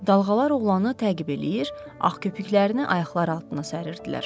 Dalğalar oğlanı təqib eləyir, ağ köpüklərini ayaqları altına səririlər.